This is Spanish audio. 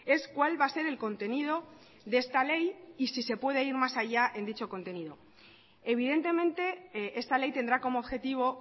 es cuál va a ser el contenido de esta ley y si se puede ir más allá en dicho contenido evidentemente esta ley tendrá como objetivo